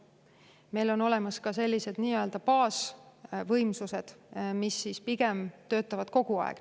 Meil on ka olemas sellised baasvõimsused, mis töötavad pigem kogu aeg.